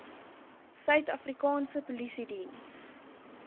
suid afrikaanse polisiediens